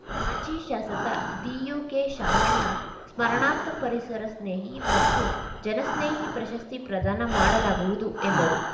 ಮಾಜಿ ಶಾಸಕ ದಿಯುಕೆಶಾಮಣ್ಣ ಸ್ಮರಣಾರ್ಥ ಪರಿಸರ ಸ್ನೇಹಿ ಮತ್ತು ಜನಸ್ನೇಹಿ ಪ್ರಶಸ್ತಿ ಪ್ರದಾನ ಮಾಡಲಾಗುವುದು ಎಂದರು